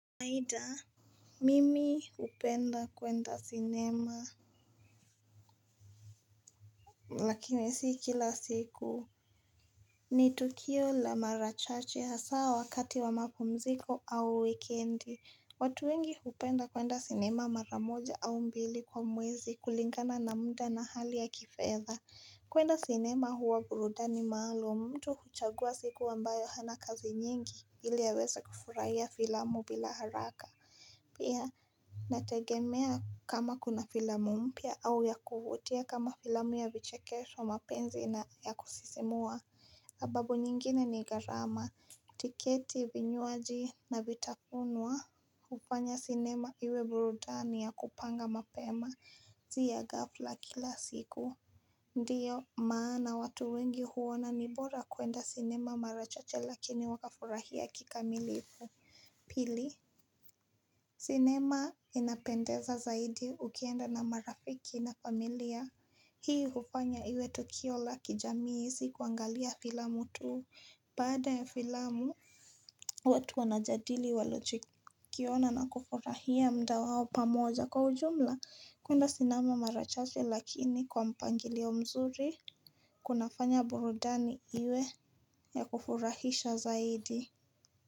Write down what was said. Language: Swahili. Maida Mimi upenda kwenda sinema Lakini sii kila siku ni Tukio la marachache haa wakati wa mapumziko au wikendi watu wengi upenda kwenda sinema maramoja au mbili kwa mwezi kulingana na muda na hali ya kifetha kwenda sinema huwa burudani maalum mtu huchagua siku ambayo hana kazi nyingi ili aweza kufurahia filamu bila haraka Pia nategemea kama kuna filamu mpia au ya kuvutia kama filamu ya vichekesho mapenzi na ya kusisimua sababu nyingine ni garama tiketi vinyuaji na vitafunwa hufanya cinema iwe burudani ya kupanga mapema si ya gafla kila siku Ndiyo maa na watu wengi huona nibora kuenda cinema marachache lakini waka furahia kikamilifu Pili sinema inapendeza zaidi ukienda na marafiki na familia Hii hufanya iwe Toukio la kijamii sikuangalia filamu tuu Baada ya filamu watu wanajadili waluchikiona na kufurahia mdawao pamoja kwa ujumla kuenda sinema mara chache lakini kwa mpangilio wa mzuri Kunafanya burudani iwe ya kufurahisha zaidi.